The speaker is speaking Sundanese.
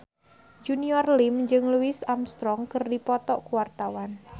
Junior Liem jeung Louis Armstrong keur dipoto ku wartawan